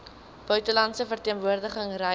buitelandse verteenwoordiging reise